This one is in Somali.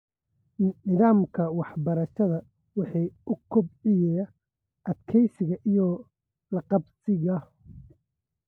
Nidaamka waxbarashada waxa uu kobciyaa adkeysiga iyo la qabsiga.